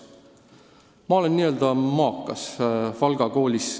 Ma olen n-ö maakas, ma käisin Valgas koolis.